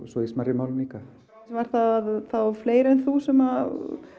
svo í smærri málum líka var það þá fleiri en þú sem